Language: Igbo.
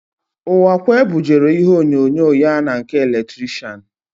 Ụwakwe bujere ígwèonyonyo ya na nke eletrishian.